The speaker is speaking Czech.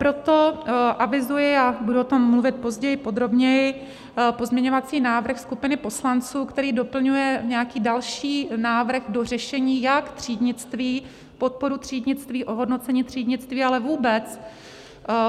Proto avizuji, a budu o tom mluvit později podrobněji, pozměňovací návrh skupiny poslanců, který doplňuje nějaký další návrh do řešení, jak třídnictví, podporu třídnictví, ohodnocení třídnictví, ale vůbec